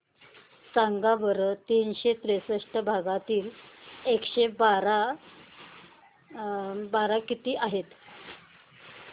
सांगा बरं तीनशे त्रेसष्ट भागीला एकशे बारा किती आहे